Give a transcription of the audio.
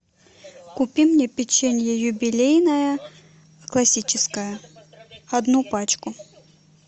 купи мне печенье юбилейное классическое одну пачку